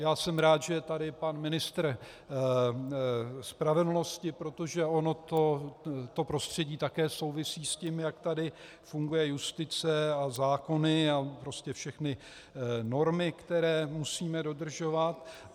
Já jsem rád, že je tady pan ministr spravedlnosti, protože ono to prostředí také souvisí s tím, jak tady funguje justice a zákony a prostě všechny normy, které musíme dodržovat.